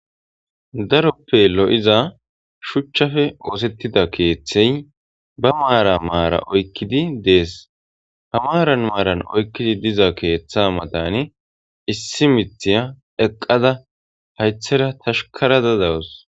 daroppe lo'iza shuchchafe oosettida keeththey ba maara maara oykkidi dees ha maaran maaran oykkidi diza keeththa matani issi mithiya eqqada haythera tashkarada dawus